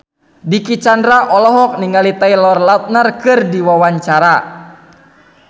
Dicky Chandra olohok ningali Taylor Lautner keur diwawancara